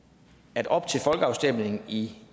at op til folkeafstemningen i